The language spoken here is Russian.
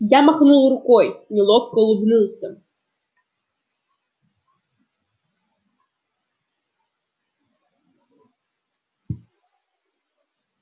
я махнул рукой неловко улыбнулся